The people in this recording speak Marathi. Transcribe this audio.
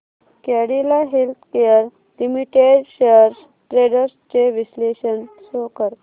Cadila healthcare limited shares trends चे विश्लेषण शो कर